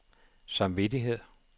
samvittighed